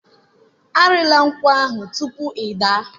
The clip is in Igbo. Arịla nkwụ ahụ tupu ị daa.